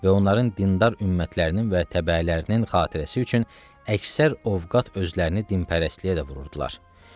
Və onların dindar ümmətlərinin və təbəələrinin xatircəliyi üçün əksər ovqat özlərini dinpərəstliyə də vururdular.